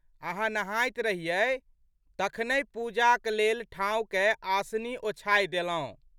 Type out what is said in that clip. अहाँ नहाइत रहियै तखनहि पूजाक लेल ठाँव कए आसनी ओछाय देलौं।